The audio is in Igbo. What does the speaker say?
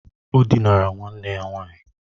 O dinara nwanne ya nwaanyị.